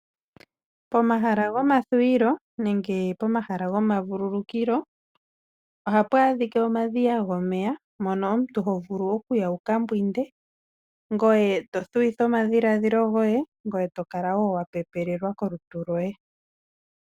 Pomahala gomathuwilo nenge pomahala gomavululukilo ohapu adhika omadhiya gomeya mono omuntu hovulu okuya wukambwinde nokuthuwitha omadhilaadhilo goye, eto kala woo wapepelelwa kolutu lwoye.